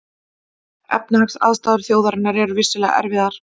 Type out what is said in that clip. Efnahagsaðstæður þjóðarinnar eru vissulega erfiðar